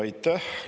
Aitäh!